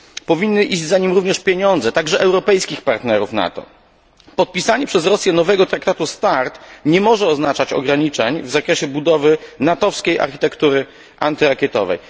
Powinny iść za nim również pieniądze, także europejskich partnerów NATO. Podpisanie przez Rosję nowego traktatu START nie może oznaczać ograniczeń w zakresie budowy natowskiej architektury antyrakietowej.